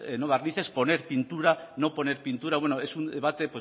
no barnices poner pintura no poner pintura bueno es un debate